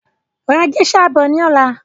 Ra géṣà bọ̀ ni ọ̀la!